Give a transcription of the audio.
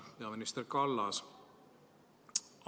Peaminister Kallas!